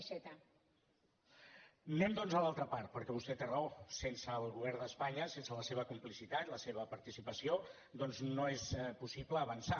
anem doncs a l’altra part perquè vostè té raó sense el govern d’espanya sense la seva complicitat la seva participació doncs no és possible avançar